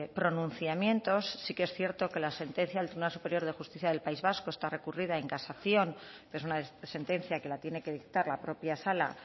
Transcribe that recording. pronunciamientos sí que es cierto que la sentencia del tribunal superior de justicia del país vasco está recurrida en casación es una sentencia que la tiene que dictar la propia sala